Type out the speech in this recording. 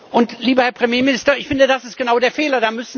Und, lieber Herr Premierminister, ich finde, das ist genau der Fehler.